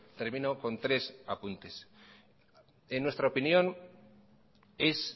termino con tres apuntes en nuestra opinión es